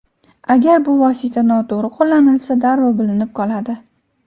Agar bu vosita noto‘g‘ri qo‘llanilsa, darrov bilinib qoladi.